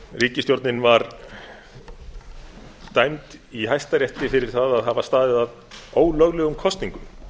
ríkisstjórnin var dæmd í hæstarétti fyrir það að hafa staðið að ólöglegum kosningum